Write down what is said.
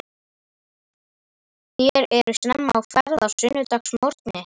Þér eruð snemma á ferð á sunnudagsmorgni.